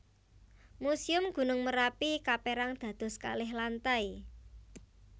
Muséum Gunung Merapi kapérang dados kalih lantai